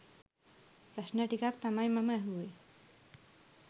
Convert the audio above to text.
ප්‍රශ්න ටිකක් තමයි මම ඇහුවේ.